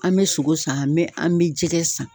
An bɛ sogo san, an bɛ an bɛ jɛgɛ san.